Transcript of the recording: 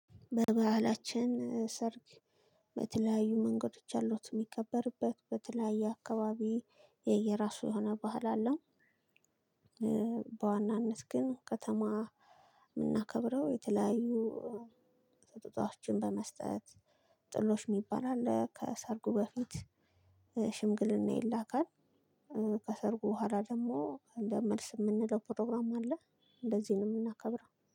በባህላችን ሰርግ በተለያዩ መንገዶች አሉት እሚከበርበት በተለያየ አካባቢ የየራሱ የሆነ ባህል አለው። በዋናነት ግን ከተማ እምናከብረው የተለያዩ ስጦታዎችን በመስጠት ጥሎሽ እሚባል ነገር አለ። ሽምግልና ይላካል። ከሰርጉ በሁአላ ደግሞ መልስ እምንለው ፕሮግራም አለ። እንደዚህ ነው እምናከብረው